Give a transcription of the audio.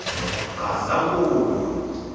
gazankulu